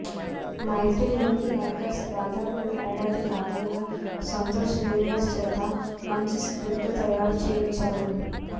మైత్రీ Movie Makers దాదాపు ఏడాది కాలంగా సంతోష్ శ్రీనివాస్ చేత మాంచి స్క్రిప్ట్ తయారుచేయించారు